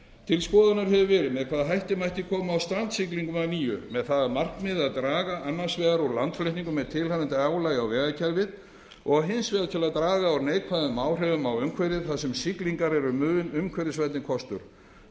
til skoðunar hefur verið með hvaða hætti mætti koma á strandsiglingum að nýju með það að markmiði að draga annars vegar úr landflutningum með tilheyrandi álagi á vegakerfið og hins vegar til að draga úr neikvæðum áhrifum á umhverfið þar sem siglingar eru mun umhverfisvænni kostur